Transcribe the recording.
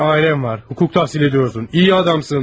Bir ailen var, hukuk tahsil ediyorsun, iyi adamsın.